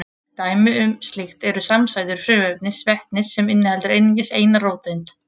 Dæmi um slíkt eru samsætur frumefnisins vetnis sem inniheldur einungis eina róteind.